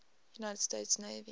united states navy